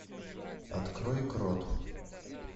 открой крот